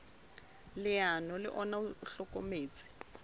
leano le ona o hlokometse